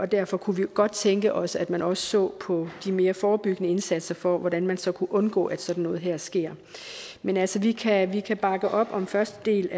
derfor kunne vi godt tænke os at man også så på de mere forebyggende indsatser for hvordan man så kunne undgå at sådan noget her sker men altså vi kan vi kan bakke op om første del